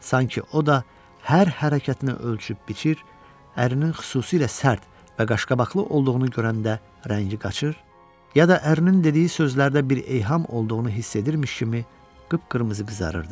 sanki o da hər hərəkətini ölçüb biçir, ərin xüsusilə sərt və qaşqabaqlı olduğunu görəndə rəngi qaçır, ya da ərin dediyi sözlərdə bir eyham olduğunu hiss edirmiş kimi qıpqırmızı qızarırdı.